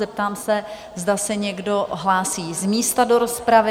Zeptám se, zda se někdo hlásí z místa do rozpravy?